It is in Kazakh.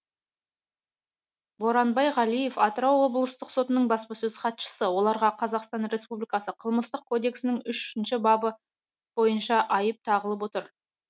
боранбай ғалиев атырау облыстық сотының баспасөз хатшысы оларға қазақстан республикасы қылмыстық кодексінің үшінші бабы бойынша айып тағылып отыр